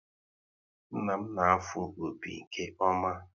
Nna m na-afụ opi nke ọma